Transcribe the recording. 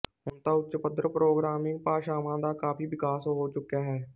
ਹੁਣ ਤਾਂ ਉੱਚ ਪੱਧਰ ਪ੍ਰੋਗਰਾਮਿੰਗ ਭਾਸ਼ਾਵਾਂ ਦਾ ਕਾਫ਼ੀ ਵਿਕਾਸ ਹੋ ਚੁੱਕਿਆ ਹੈ